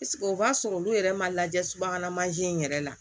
o b'a sɔrɔ olu yɛrɛ ma lajɛ subahana mansin in yɛrɛ la